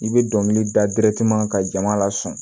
I bɛ dɔnkili da ka jama la sɔn